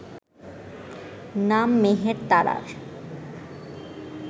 নাম মেহের তারার